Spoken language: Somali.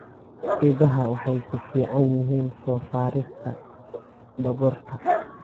Idaha waxay ku fiican yihiin soo saarista dhogorta.